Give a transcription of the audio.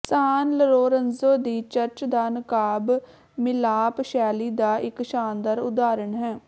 ਸਾਨ Lorenzo ਦੀ church ਦਾ ਨਕਾਬ ਮਿਲਾਪ ਸ਼ੈਲੀ ਦਾ ਇਕ ਸ਼ਾਨਦਾਰ ਉਦਾਹਰਨ ਹੈ